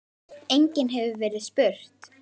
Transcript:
Einnig hefur verið spurt